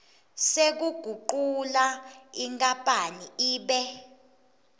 sekugucula inkapani ibe